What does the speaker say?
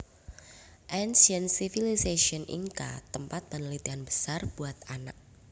Ancient Civilizations Inca Tempat penelitian besar buat anak